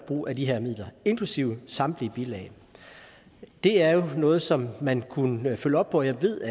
brug af de her midler inklusive samtlige bilag det er jo noget som man kunne følge op på jeg ved